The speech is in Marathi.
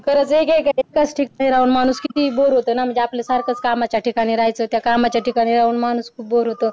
तर जे जे एकेच ठिकाणी राहून माणूस किती बोर होतो ना म्हणजे आपलं त्या कामाच्या ठिकाणी राहायचं त्या कामाच्या ठिकाणी राहून मनुष्य बोर होतो